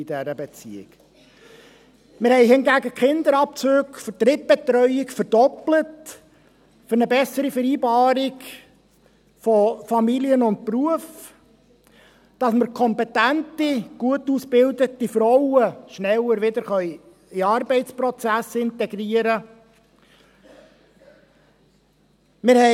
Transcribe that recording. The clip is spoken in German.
Wir haben hingegen für eine bessere Vereinbarung von Familie und Beruf die Kinderabzüge für Drittbetreuung verdoppelt, damit wir kompetente, gut ausgebildete Frauen schneller wieder in den Arbeitsprozess integrieren können.